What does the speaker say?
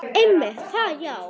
Einmitt það já.